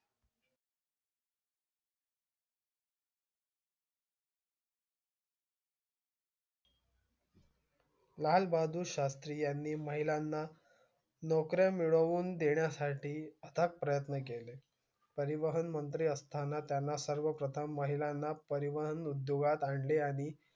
लाल बहादूर शास्री यांनी महिलाना नोकरी मिळवून देण्यासाठी आटत प्रयत्न केले परिवहन मंत्री असताना त्याना सर्व प्रथम महिलांना परिवहन उदोगात आणे आणि